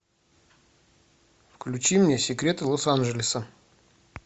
включи мне секреты лос анджелеса